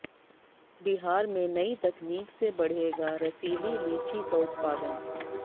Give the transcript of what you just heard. बिहार में नई तकनीक से बढ़ेगा रसीली लीची का उत्पादन